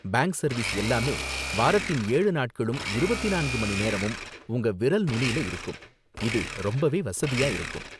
Bank service எல்லாமே வாரத்தின் ஏழு நாட்களும் இருபத்தி நான்கு மணி நேரமும் உங்க விரல் நுனில இருக்கும், இது ரொம்பவே வசதியா இருக்கும்.